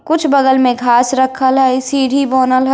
कुछ बगल में घांस रखल है सीढ़ी बनल है।